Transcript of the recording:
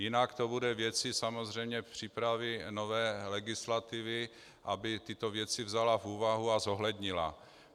Jinak to bude věcí samozřejmě přípravy nové legislativy, aby tyto věci vzala v úvahu a zohlednila.